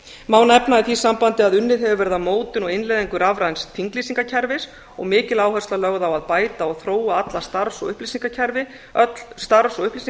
má nefna í því sambandi að unnið hefur verið að mótun og innleiðingu rafræns þinglýsingarkerfis og mikil áhersla lögð á að bæta og þróa öll starfs og upplýsinga